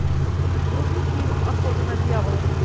вруби фильм охота на дьявола